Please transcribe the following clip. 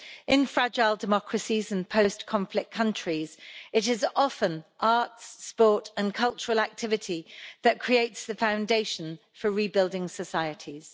In fragile democracies and post-conflict countries, it is often arts, sport and cultural activity that create the foundation for rebuilding societies.